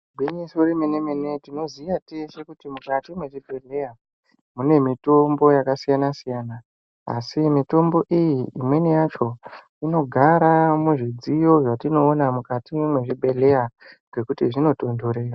Igwinyiso remene mene Tinoziya teshe kuti mukati mwezvibhedhleya mune mitombo yakasiyana siyana asi mitombo iyi imweni yacho inogara muzvidziyo zvatinoona mukati mwezvibhedhleya ngekuti dzinotontorera.